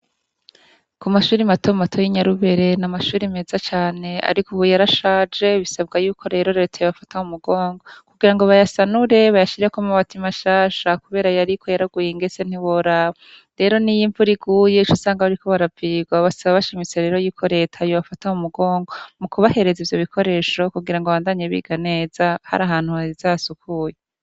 Ku mashure mato mato y' i Nyarubere ni amashure neza cane, ariko ubu yarashaje bisaba ko leta yobafata mu mugongo kugirango bayasanure, bayashireko amabati mashasha kubera ayariko yaraguye ingesye ntiworaba. Rero niyo imvura iguye uca usanga bariko baravirwa, bakaba bashimitse rero yuko leta yobafata mu mugongo, mu kubahereza ivyo bikoresho kugirango babandanye biga neza harahantu heza hasukuye.